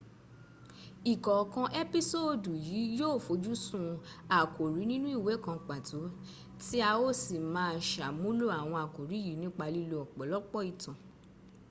ìkọ̀ọ̀kan ẹ́písòòdù yìí yó ò fojúsun àkórí nínú ìwé kan pàtó tí a ó sì má a sàmúnlò àwọn àkórí yìí nípa lílo ọ̀pọ̀lọpọ̀ ìtàn